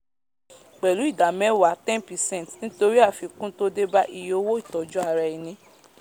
pèlú ìdá mẹwàá ten percent nítorí àfikún tó débá iye owó ìtọju ara eni